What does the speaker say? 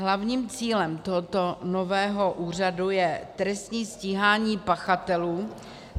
Hlavním cílem tohoto nového úřadu je trestní stíhání pachatelů -